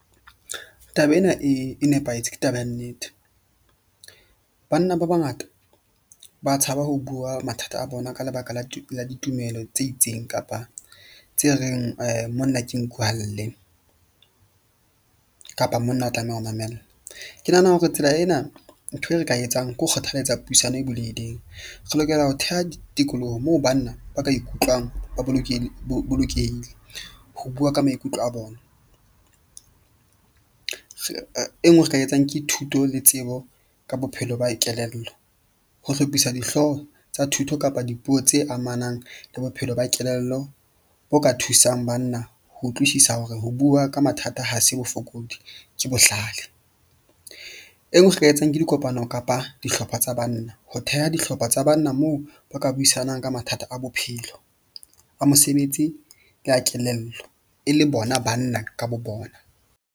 Taba ena e nepahetse ke taba ya nnete. Banna ba bangata ba tshaba ho bua mathata a bona ka lebaka la ditumelo tse itseng kapa tse reng monna ke nku ha lle kapa monna o tlameha ho mamella. Ke nahana hore tsela ena ntho e re ka etsang ke ho kgothalletsa puisano e bulehileng. Re lokela ho theha tikoloho moo banna ba ka ikutlwang ba bolokehile ho bua ka maikutlo a bona. E nngwe re ka etsang ke thuto le tsebo ka bophelo ba kelello, ho hlophisa dihloho tsa thuto kapa dipuo tse amanang le bophelo ba kelello bo ka thusang banna. Ho utlwisisa hore ho bua ka mathata, ha se bofokodi ke bohlale. E nngwe re ka e etsang ke dikopano kapa dihlopha tsa banna, ho theha dihlopha tsa banna moo ba ka buisanang ka mathata a bophelo a mosebetsi le ya kelello e le bona banna ka bo bona.